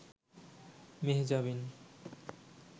Mehjabin